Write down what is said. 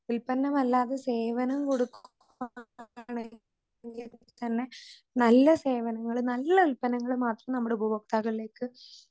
ഈപറഞ്ഞ നല്ല സേവനം കൊടുക്കുവാണെങ്കിൽതന്നെ നല്ല സേവനകള് നല്ല ഉല്പ്പന്നങ്ങള് മാത്രം നമ്മുടെ ഉപഭോക്താവിലേക്ക്